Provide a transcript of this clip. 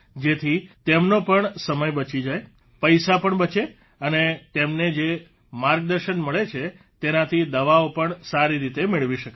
જેથી તેમનો પણ સમય બચી જાય પૈસા પણ બચે અને તેમને જે માર્ગદર્શન મળે છે તેનાથી દવાઓ પણ સારી રીતે મેળવી શકાય છે